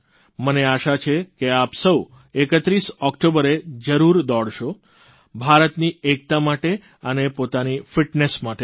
મને આશા છે કે આપ સૌ 31 ઓકટોબરે જરૂર દોડશો ભારતની એકતા માટે અને પોતાની ફીટનેસ માટે પણ